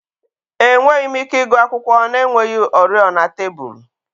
Enweghị m ike ịgụ akwụkwọ na-enweghị oriọna tebụl